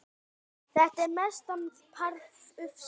Þetta er mestan part ufsi